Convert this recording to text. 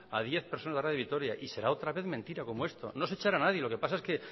a diez personas de radio vitoria y será otra vez mentira como esto no es echar a nadie lo que pasa es que